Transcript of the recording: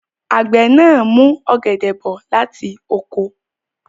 Àgbẹ̀ náà mú ọ̀gẹ̀dẹ̀ bọ̀ láti oko.